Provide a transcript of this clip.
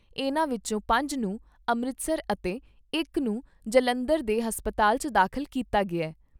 ਇਨ੍ਹਾਂ ਵਿਚੋਂ ਪੰਜ ਨੂੰ ਅੰਮ੍ਰਿਤਸਰ ਅਤੇ ਇਕ ਨੂੰ ਜਲੰਧਰ ਦੇ ਹਸਤਪਾਲ 'ਚ ਦਾਖ਼ਲ ਕੀਤਾ ਗਿਆ ।